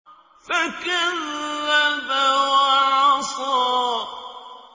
فَكَذَّبَ وَعَصَىٰ